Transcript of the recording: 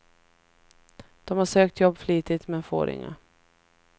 De har sökt jobb flitigt, men får inga.